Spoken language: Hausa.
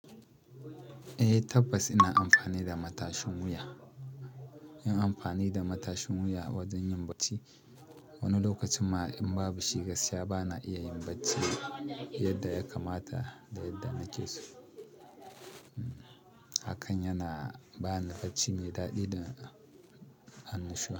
Eh tabbas ina amfani da matashin wuya. Yin amfani da matashin wuya wajen yin bacci, wani lokacin ma in babu shi gaskiya bana iya yin bacci yadda ya kamata da yadda na ke so. Hakan yana bani bacci mai daɗi da annashuwa.